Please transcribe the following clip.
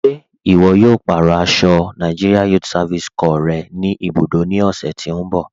Ṣe iwọ̀ yóò pa arọ aṣọ NYSC rẹ̀ ni ibudó ni ọ̀sẹ̀ tí n bọ̀?